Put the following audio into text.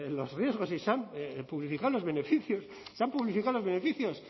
los riesgos y se han publificado los beneficios se han publificado los beneficios